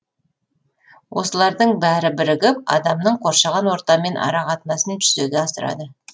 осылардың бәрі бірігіп адамның қоршаған ортамен арақатынасын жүзеге асырады